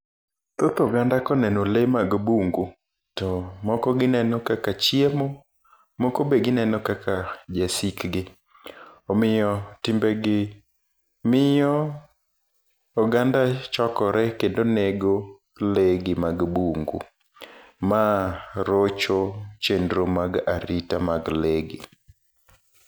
Thoth oganda koneno lee mag bungu to moko gineno kaka chiemo, moko be gineno kaka jasikgi. Omiyo timbegi miyo oganda chokore kendo nedo lee gi mag bungu. Ma rocho chenro mag arita mag lee gi.